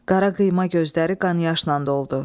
Qara qıyma gözləri qan yaşla doldu.